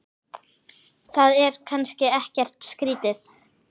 Það er kannski ekkert skrýtið?